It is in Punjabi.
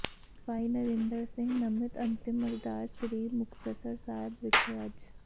ਭਾਈ ਨਰਿੰਦਰ ਸਿੰਘ ਨਮਿਤ ਅੰਤਿਮ ਅਰਦਾਸ ਸ੍ਰੀ ਮੁਕਤਸਰ ਸਾਹਿਬ ਵਿਖੇ ਅੱਜ